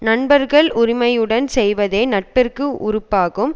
நண்பர்கள் உரிமையுடன் செய்வதே நட்பிற்கு உறுப்பாகும்